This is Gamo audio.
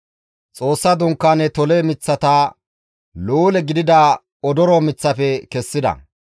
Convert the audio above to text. Xoossa Dunkaane tole miththata luule gidida odoro miththafe kessida.